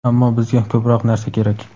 ammo bizga ko‘proq narsa kerak.